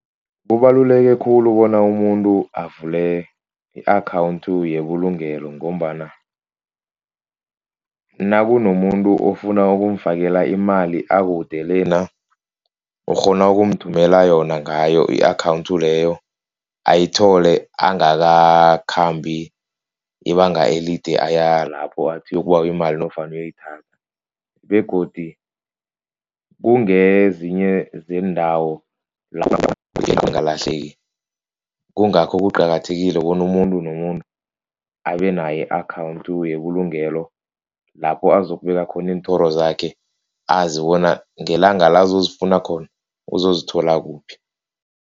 Kubaluleke khulu bona umuntu avule i-account yebulungelo. Ngombana nakunomuntu ofuna ukumfakela imali akude lena. Ukghona ukumthumela yona ngayo i-account leyo ayithole angakakhambi ibanga elide aya lapho athi uyokubawa imali nofana uyoyithatha begodu kungezinye zeendawo angalahleki. Kungakho kuqakathekile bona umuntu nomuntu abe nayo i-account yebulungelo lapho azokubeka khona iinthoro zakhe azi bona ngelanga la azozifuna khona uzozithola kuphi.